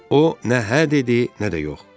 O nə hə dedi, nə də yox.